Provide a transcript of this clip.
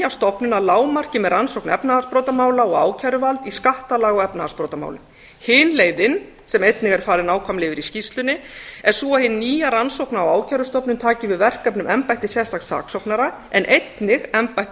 að lágmarki með rannsókn efnahagsbrotamála og ákæruvald í skattalaga og efnahagsbrotamálum hin leiðin sem einnig er farið nákvæmlega yfir í skýrslunni er sú að hin nýja rannsókna og ákærustofnun taki við verkefnum embættis sérstaks saksóknara en einnig embættum